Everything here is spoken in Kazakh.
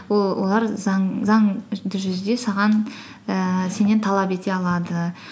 олар заңды жүзде ііі сеннен талап ете алады